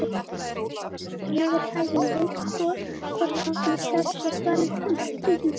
Fólkið hér á neðri hæðinni veit hvort okkar er stærra svaraði hann stríðnislega.